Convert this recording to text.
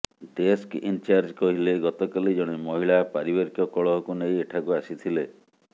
desk in charge କହିଲେ ଗତକାଲି ଜଣେ ମହିଳା ପାରିବାରିକ କଳହକୁ ନେଇ ଏଠାକୁ ଆସିଥିଲେ